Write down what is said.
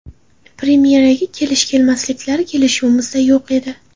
Premyeraga kelish-kelmasliklari kelishuvimizda yo‘q edi.